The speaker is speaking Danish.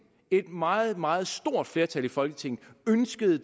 et meget meget stort flertal i folketinget ønskede